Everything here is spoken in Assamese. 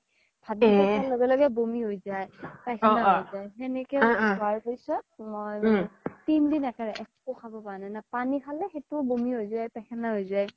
খুৱাৰ লগে লগে বমি হয় যাই পাইখেনা হয় যাই সেনেকে হুৱাৰ পিছ্ত তিন দিন একো খাব পাৰা নাই না পানি খালে সেইতো বমি হয় যাই পাইখেনা হয় যাই